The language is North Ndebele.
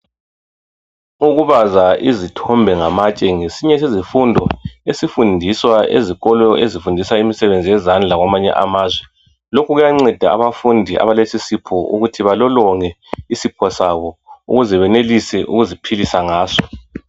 Ukubaza izithombe ngamatshe ngesinye sezifundo esifundiswa ezikolo ezifundisa imisebenzi yezandla kwamanye amazwe, lokhu kuyanceda abafundi abalesisipho ukuthi balolonge isipho sabo ukuze benelise ukuziphilisa ngaso.